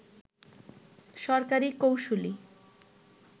সরকারি কৌঁসুলি